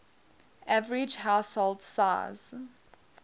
average household size